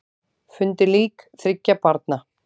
Fundu lík þriggja barna